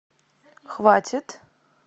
хватит